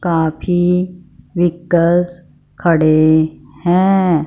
काफी विकश खड़े हैं।